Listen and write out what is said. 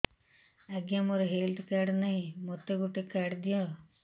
ଆଜ୍ଞା ମୋର health card ନାହିଁ ମୋତେ ଗୋଟେ କାର୍ଡ ଦିଅ